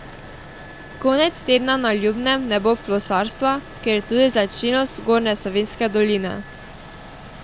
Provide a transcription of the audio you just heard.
Konec tedna na Ljubnem ne bo flosarstva, kar je tudi značilnost Zgornje Savinjske doline.